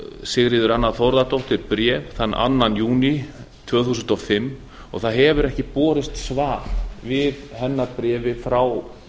sigríður anna þórðardóttir bréf þann annan júní tvö þúsund og fimm og það hefur ekki borist svar við hennar bréfi frá